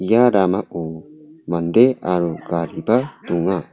ia ramao mande aro gariba donga.